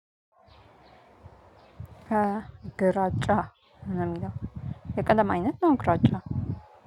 ከግራጫ ነው የሚለው የቀለም አይነት ነው ግራጫ።